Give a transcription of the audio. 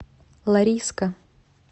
лариска